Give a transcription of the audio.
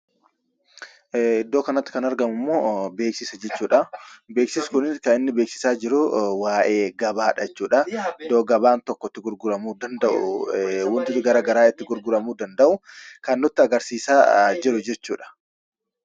Iddoo kanatti kan argamu immoo , beeksisa jechuudhaa. Beeksisni kunis kan inni beeksisaa jiru waa'ee gabaadha jechuudhaa. Iddoo gabaan tokko itti gurguramuu danda'u , waanti garaagaraa itti gurguramuu danda'u kan nutti agarsiisaa jiru jechuudha.